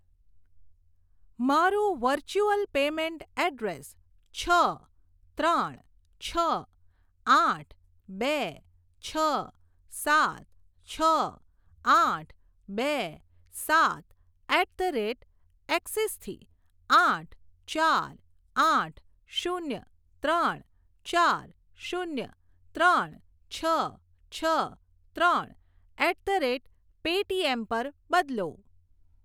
મારું virtual payment address છ ત્રણ છ આઠ બે છ સાત છ આઠ બે સાત એટ ધ રેટ એક્સિસ થી આઠ ચાર આઠ શૂન્ય ત્રણ ચાર શૂન્ય ત્રણ છ છ ત્રણ એટ ધ રેટ પેટીએમ પર બદલો.